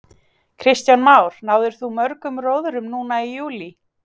Kristján Már: Náðir þú mörgum róðrum núna í júlí?